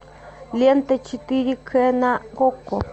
лента четыре к на окко